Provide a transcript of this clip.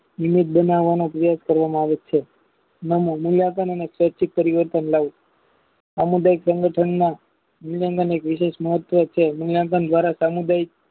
unit બનાવના અભ્યાસ કરવામાં આવે છે નાના મૂલ્યાંકન અને સ્વૈચ્છિત પરિવર્તન લાવવું સામુદાયિક સંગઠનના વીરાંગની લીધે મુકયાંકન દ્વારા સામુદાયિક